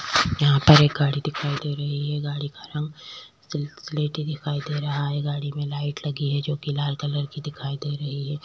यहाँ पर एक गाड़ी दिखाई दे रही है गाड़ी का रंग सिल्क स्लेटी दिखाई दे रहा है गाड़ी में लाइट लगा है जोकि लाल कलर की दिखाई दे रही हैं।